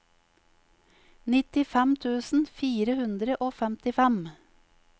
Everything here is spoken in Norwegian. nittifem tusen fire hundre og femtifem